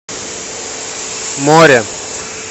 море